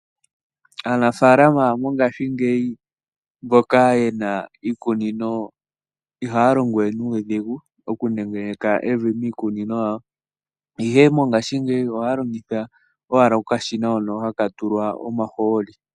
Aanamapya mongashingeyi mboka ye na iikunino ihaya longo we nuudhigu okunengeneka evi miikunino yawo. Ihe mongashingeyi ohaya longitha okashina hoka haka tulwa omahooli.